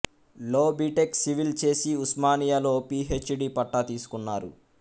లో BTech civil చేసి ఉస్మానియాలో పి హెచ్ డి పట్టా తీసుకున్నారు